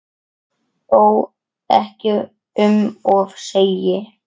Þó ekki um of segir